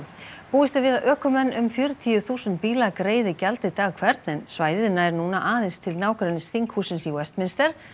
búist er við að ökumenn um fjörutíu þúsund bíla greiði gjaldið dag hvern en svæðið nær núna aðeins til nágrennis þinghússins í Westminster